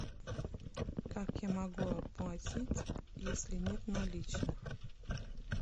как я могу оплатить если нет наличных